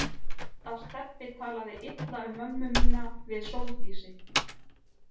Ég veit að Stebbi talaði illa um mömmu mína við Sóldísi.